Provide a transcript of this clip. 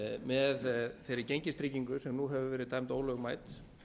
með þeirri gengistryggingu sem nú hefur verið dæmd ólögmæt